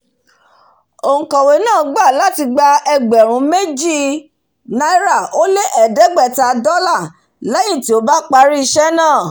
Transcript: ònkọ̀wé náà gbà láti gba ẹgbẹ̀rún méjì náírà ó lé ẹ̀ẹ́dégbẹ̀tá dọ́là léyìn tí ó bá parí ísé náà